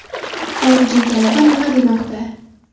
Xorijiy tajriba nima demoqda?